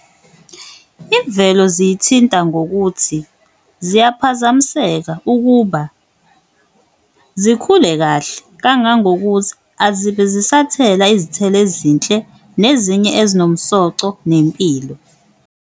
Imvelo ziyithinta ngokuthi ziyaphazamiseka ukuba zikhule kahle kangangokuthi azibe zisathela izithelo ezinhle nezinye ezinomsoco nempilo.